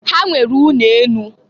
Ha nwere ụnọ enụ.